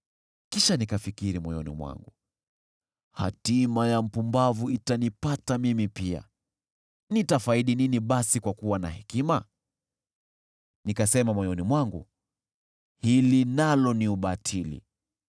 Kisha nikafikiri moyoni mwangu, “Hatima ya mpumbavu itanipata mimi pia. Nitafaidi nini basi kwa kuwa na hekima?” Nikasema moyoni mwangu, “Hili nalo ni ubatili.”